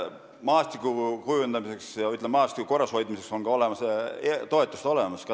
Maastiku kujundamiseks ja, ütleme, korrashoidmiseks on ka praegu toetused olemas.